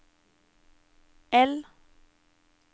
L